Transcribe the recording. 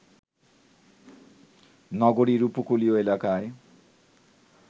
নগরীর উপকূলীয় এলাকায়